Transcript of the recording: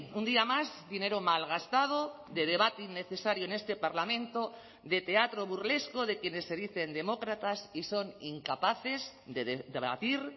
un día más dinero malgastado de debate innecesario en este parlamento de teatro burlesco de quienes se dicen demócratas y son incapaces de debatir